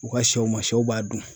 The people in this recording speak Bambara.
U ka sɛw ma sɛw b'a dun.